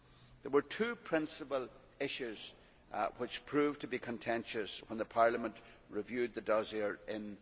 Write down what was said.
There were two principal issues which proved to be contentious when Parliament reviewed the dossier in